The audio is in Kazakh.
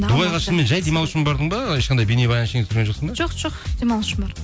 дубайға шынымен жай демалу үшін бардың ба ешқандай бейнебаян ештеңе түсірген жоқсың ба жоқ жоқ демалу үшін бардым